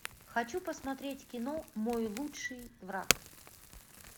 хочу посмотреть кино мой лучший враг